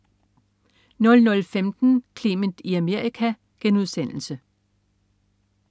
00.15 Clement i Amerika*